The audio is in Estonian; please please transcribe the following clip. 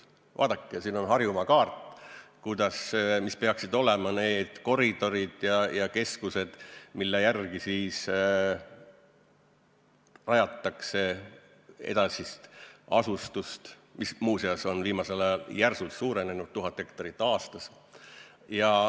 Vaadake, siin on Harjumaa kaart selle kohta, mis peaksid olema need koridorid ja keskused, mille järgi rajatakse edasist asustust, mis, muuseas, on viimasel ajal järsult suurenenud, 1000 hektarit aastas.